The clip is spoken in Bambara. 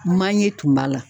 Manye tun b'a la